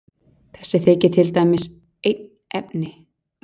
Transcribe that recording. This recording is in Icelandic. Þessi þykir til dæmis einn efni.